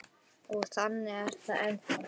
Og þannig er það ennþá.